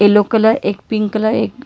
blue colour एक pink colour एक--